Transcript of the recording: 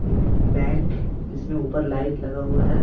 Bank इसमें ऊपर light लगा हुआ है।